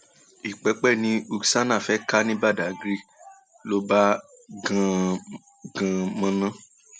ìpẹpẹ ni uksana fee kà ní badàgry um ló bá gan gan um gán mọnà